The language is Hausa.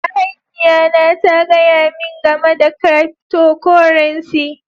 Mahaifiya na ta gaya min gamai da cryptocurrency.